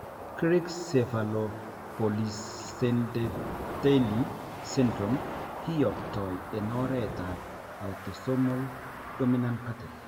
Greig cephalopolysyndactyly syndrome kiyoptoi en oret ab autosomal dominant pattern